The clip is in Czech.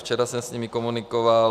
Včera jsem s nimi komunikoval.